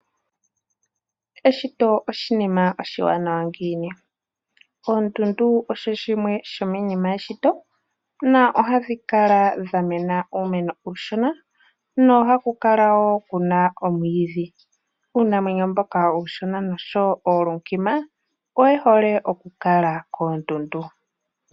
Eshito oshinima oshiwanawa ngiini? Oondundu osho shimwe shomiinima yeshito nohadhi kala dhamena uumeno uushona nohaku kala woo kuna omwiidhi. Uunamwenyo mboka uushona noshowo oolunkima oye hole okukala koondundu.